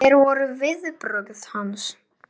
Hvernig, hver voru viðbrögð hans?